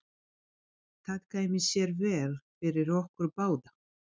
Það kæmi sér vel fyrir okkur báða.